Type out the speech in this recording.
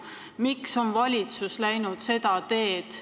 Miks on valitsus läinud seda teed?